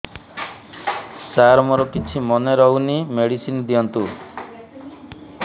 ସାର ମୋର କିଛି ମନେ ରହୁନି ମେଡିସିନ ଦିଅନ୍ତୁ